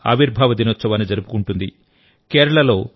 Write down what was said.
ఆంధ్రప్రదేశ్ ఆవిర్భావ దినోత్సవాన్ని జరుపుకుంటుంది